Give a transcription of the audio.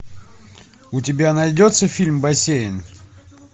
у тебя найдется фильм бассейн